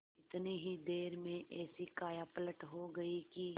इतनी ही देर में ऐसी कायापलट हो गयी कि